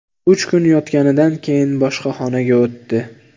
Uch kun yotganidan keyin boshqa xonaga o‘tdi.